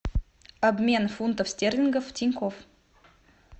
обмен фунтов стерлингов в тинькофф